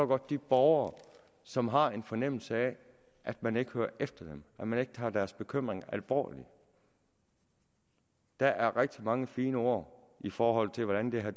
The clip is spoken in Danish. godt de borgere som har en fornemmelse af at man ikke hører efter dem at man ikke tager deres bekymringer alvorligt der er rigtig mange fine ord i forhold til hvordan det her